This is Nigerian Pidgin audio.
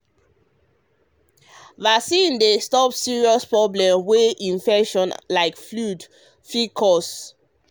vaccine dey stop serious problem wey infection like flu fit cause.